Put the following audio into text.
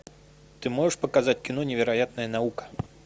ты можешь показать кино невероятная наука